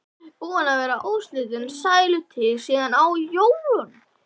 Búin að vera óslitin sælutíð síðan á jólunum.